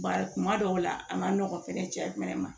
Bari kuma dɔw la a ma nɔgɔn fɛnɛ cɛ fɛnɛ ma